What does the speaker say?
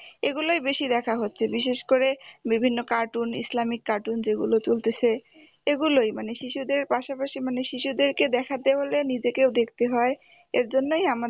এগুলোই বেশি দেখা হচ্ছে বিশেষ করে বিভিন্ন cartoon ইসলামিক cartoon যেগুলো চলতেছে, এগুলোই মানে শিশুদের পাশাপাশি মানে শিশুদেরকে দেখাতে হলে, নিজেকেও দেখতে হয় এর জন্যই আমাদের